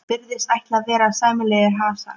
Virðist ætla að verða sæmilegur hasar.